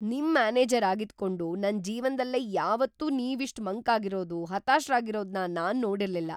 ನಿಮ್ ಮ್ಯಾನೇಜರ್ ಆಗಿದ್ಕೊಂಡು ನನ್ ಜೀವನ್ದಲ್ಲೇ ಯಾವತ್ತೂ ನೀವಿಷ್ಟ್‌ ಮಂಕಾಗಿರೋದು, ಹತಾಶ್ರಾಗಿರೋದ್ನ ನಾನ್‌ ನೋಡಿರ್ಲಿಲ್ಲ.